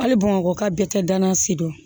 Hali bamakɔ ka bɛɛ kɛ danansi don